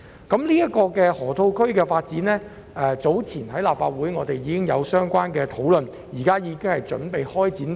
這項河套區發展計劃早前在立法會已作討論，現正準備開展。